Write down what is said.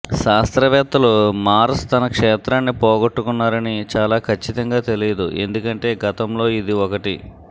శాస్త్రవేత్తలు మార్స్ తన క్షేత్రాన్ని పోగొట్టుకున్నారని చాలా ఖచ్చితంగా తెలియదు ఎందుకంటే గతంలో ఇది ఒకటి